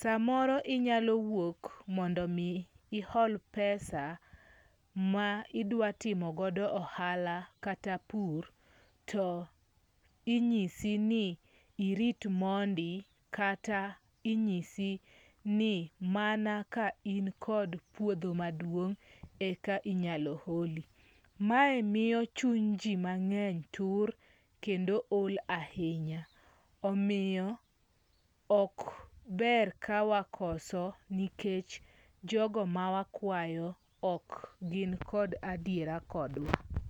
Samoro inyalo wuok mondo omi ihol pesa ma idwa timogo ohala kata pur to inyisi ni irit mondi kata inyisi ni mana ka in kod puodho maduong' eka inyalo holi. Mae miyo chuny ji mang'eny tur kendo ol ahinya omiyo ok ber ka wakoso nikech jogo ma wakwayo ok gin kod adiera kodwa.